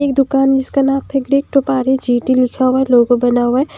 ये दुकान जिसका नाम लिखा हुआ है लोगो बना हुआ है।